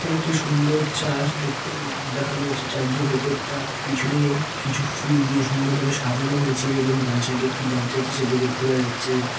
এখানে একটি সুন্দর চার্চ দেখতে দেখানো হয়েছে চার্চ -এর ভিতরটা পিছনে কিছু ফুল দিয়ে সুন্দর ভাবে সাজানো হয়েছে। এবং ডান সাইড -এ একটি দরজা আছে সেটি দেখতে পাওয়া যাচ্ছে।